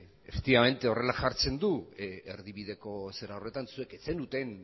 horrela jartzen du erdibideko zera horretan zuek ez zenuten